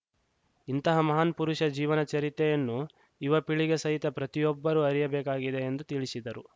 ಇಂತಹ ಮಹಾನ್‌ ಪುರುಷ ಜೀವನ ಚರಿತ್ರೆಯನ್ನು ಯುವಪೀಳಿಗೆ ಸಹಿತ ಪ್ರತಿಯೊಬ್ಬರೂ ಅರಿಯಬೇಕಾಗಿದೆ ಎಂದು ತಿಳಿಶಿದರು